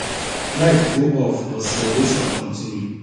light go off but celebration continue